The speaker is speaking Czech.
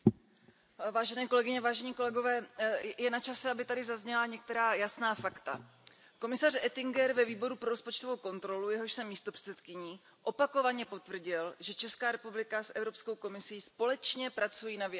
Pane předsedající, je načase, aby tady zazněla některá jasná fakta. Komisař Oettinger ve Výboru pro rozpočtovou kontrolu, jehož jsem místopředsedkyní, opakovaně potvrdil, že Česká republika s Evropskou komisí společně pracují na vyjasnění situace.